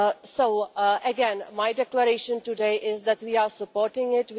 So again my declaration today is that we are supporting it.